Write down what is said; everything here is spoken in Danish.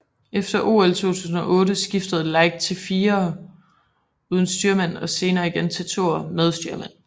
Efter OL 2008 skiftede Light til firer uden styrmand og senere igen til toer med styrmand